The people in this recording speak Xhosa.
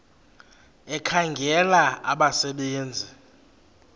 ekhangela abasebe nzi